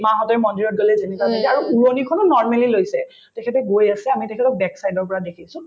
মা হঁতে মন্দিৰত গলে যেনেকুৱা পিন্ধে আৰু উৰণীখনো normally লৈছে তেখেতে গৈ আছে আমি তেখেতক back side ৰ পৰা দেখিছো